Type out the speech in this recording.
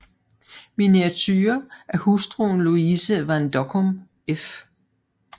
Miniature af hustruen Louise van Dockum f